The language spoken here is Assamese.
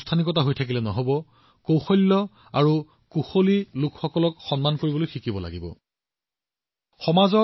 যেতিয়া আমি কিবা নতুন কৰো কিবা এটা উদ্ভাৱন কৰো এনে কিবা সৃষ্টি কৰো যি সমাজক লাভান্বিত কৰিব মানুহৰ জীৱন সহজ কৰি তুলিব তেতিয়া আমাৰ বিশ্বকৰ্মা পূজা সাৰ্থক হব